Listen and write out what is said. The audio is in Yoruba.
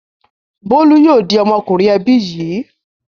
Bólú yóò di ọmọkùnrin ẹbí yìí.